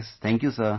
Thank you sir,